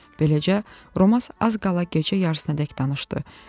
Beləcə, Romas az qala gecə yarısınadək danışdı.